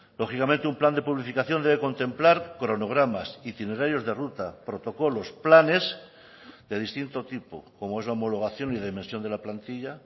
lógicamente un plan de publificación debe contemplar cronogramas itinerarios de ruta protocolos planes de distinto tipo como es la homologación y dimensión de la plantilla